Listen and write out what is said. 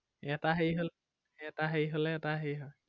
এটা সেই হ'লে, এটা সেই হ'লে এটা সেই হয়।